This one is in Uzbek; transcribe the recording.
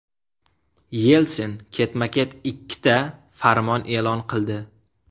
Yelsin ketma-ket ikkita farmon e’lon qildi.